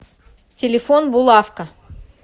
телефон булавка